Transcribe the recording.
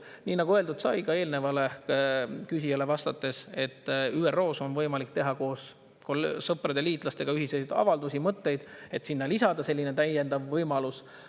Nii nagu öeldud sai ka eelnevale küsijale vastates, et ÜRO-s on võimalik teha koos sõprade, liitlastega ühiseid avaldusi, mõtteid, et sinna lisada selline täiendav võimalus.